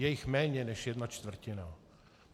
Je jich méně než jedna čtvrtina.